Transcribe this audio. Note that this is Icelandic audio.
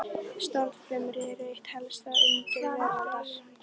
Stofnfrumur eru eitt helsta undur veraldar.